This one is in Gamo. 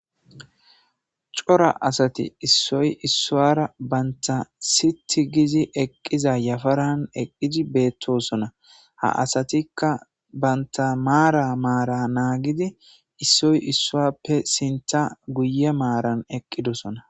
Cora asati issoy issuwara banta sit gizi eqqiza yafaran eqqidi beettosona ha asatikka banta maara maara naagidi issoy issuappe sinta guye maaran eqqidosona.